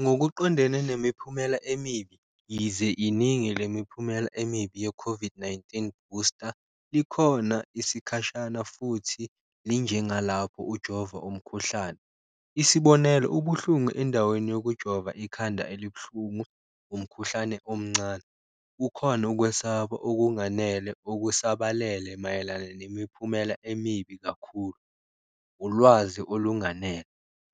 Ngokuqondene nemiphumela emibi yize iningi le miphumela emibi ye-COVID-19 booster likhona isikhashana futhi linjengalapho ujova umkhuhlane, isibonelo, ubuhlungu endaweni yokujova ikhanda elibuhlungu, umkhuhlane omncane. Kukhona ukwesaba okunganele okusabalele mayelana nemiphumela emibi kakhulu, ulwazi olunganele